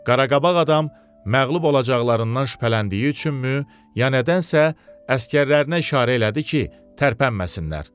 Qaraqabaq adam məğlub olacaqlarından şübhələndiyi üçünmü, ya nədənsə, əsgərlərinə işarə elədi ki, tərpənməsinlər.